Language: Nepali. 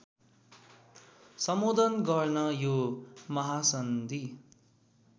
सम्बोधन गर्न यो महासन्धि